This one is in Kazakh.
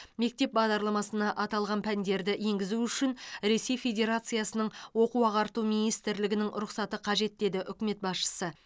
мектеп бағдарламасына аталған пәндерді енгізу үшін ресей федерациясының оқу ағарту министрлігінің рұқсаты қажет деді үкімет басшысы